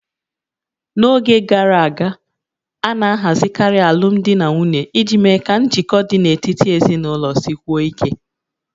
N'oge gara aga, a na-ahazikarị alụmdi na nwunye iji mee ka njikọ dị n'etiti ezinụlọ sikwuo ike